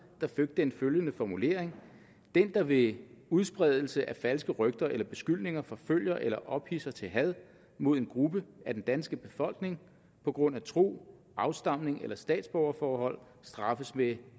fik den følgende formulering den der ved udspredelse af falske rygter eller beskyldninger forfølger eller ophidser til had mod en gruppe af den danske befolkning på grund af tro afstamning eller statsborgerforhold straffes med